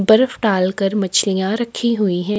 बरफ डालकर मच्छलिया रखी हुई है।